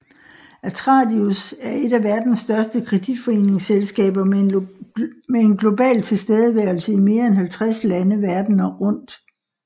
Atradius er et af verdens største kreditforsikringsselskaber med en global tilstedeværelse i mere end 50 lande verden rundt